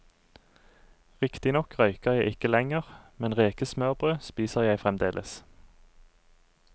Riktignok røyker jeg ikke lenger, men rekesmørbrød spiser jeg fremdeles.